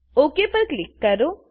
okay પર click કરો